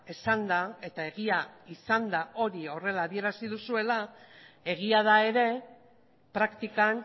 esanda eta egia izanda hori horrela adierazi duzuela egia da ere praktikan